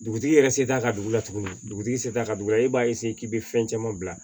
Dugutigi yɛrɛ se t'a ka dugu la tuguni dugutigi sela ka dugu la e b'a k'i bɛ fɛn caman bila